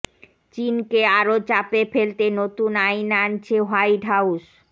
চিনকে আরও চাপে ফেলতে নতুন আইন আনছে হোয়াইট হাউস